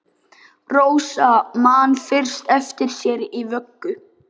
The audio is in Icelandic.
Rósa man fyrst eftir sér í vöggu!